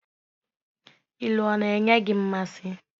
Ilu ọ na-enyi gị mmasị?